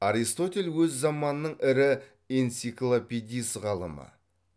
аристотель өз заманының ірі энциклопедист ғалымы